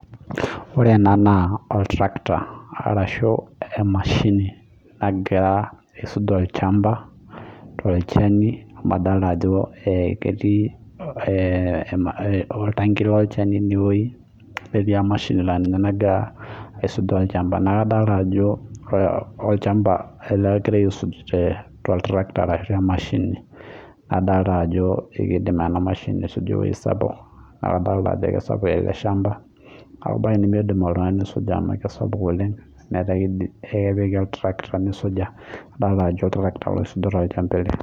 ore ena naa emashini nagira aisuj olchamba amuu amuu kadoolta ajo ketii oltaki inewueji oltaki netii siininye olchani naa kadoolta ajo kisapuk ele shamba neeku miidim oltungani ena mashini ake naidim